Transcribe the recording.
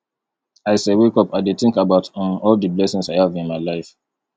as i wake up i dey think about um all the blessings i have in my life